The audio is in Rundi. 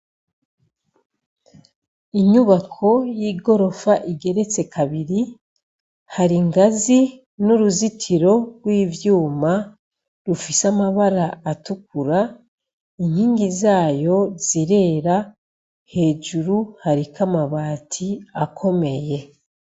Inyibako y'igorofa igeretse kabiri, hari ingazi n'uruzitiro rw'ivyuma rufise amabara atukura ,inkingi zayo zirera hejuru hariko amabati akomeye.